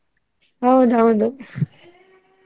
ಹೌದ್ ಹೌದು .